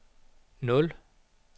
nul